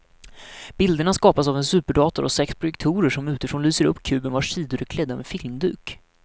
Bilderna skapas av en superdator och sex projektorer som utifrån lyser upp kuben vars sidor är klädda med filmduk.